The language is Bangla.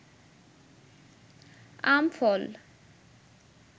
আম ফল